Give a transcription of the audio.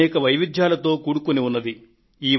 అనేక వైవిధ్యాలతో కూడుకొన్నది